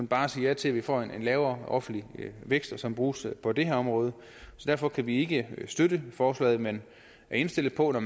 bare sige ja til at vi får en lavere offentlig vækst som bruges på det her område derfor kan vi ikke støtte forslaget men er indstillet på at